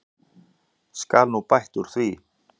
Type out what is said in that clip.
Skal nú bætt úr því.